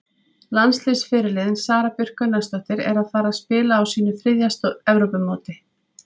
Landsliðsfyrirliðinn Sara Björk Gunnarsdóttir er að fara að spila á sínu þriðja Evrópumóti.